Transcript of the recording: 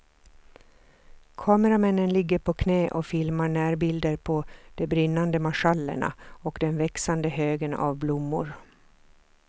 Kameramännen ligger på knä och filmar närbilder på de brinnande marschallerna och den växande högen av blommor.